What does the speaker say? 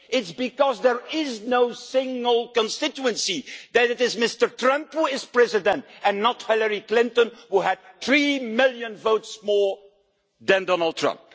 It's because there is no single constituency that it is Mr Trump who is President and not Hilary Clinton, who received three million votes more than Donald Trump.